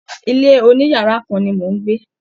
ilé oniyara kan ni mò ń gbé.